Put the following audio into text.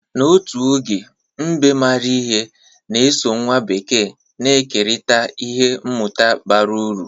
N'otu oge, mbe maara ihe na-eso nwa bekee na-ekerịta ihe mmụta bara uru.